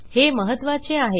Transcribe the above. हे महत्त्वाचे आहे